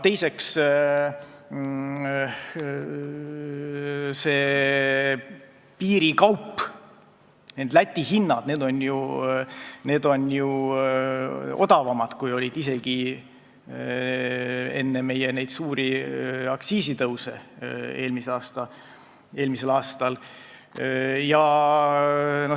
Teiseks, Läti hinnad on ju odavamad, kui olid hinnad meil isegi enne suuri aktsiisitõuse eelmisel aastal.